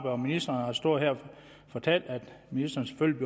og ministeren har stået her og fortalt at ministeren selvfølgelig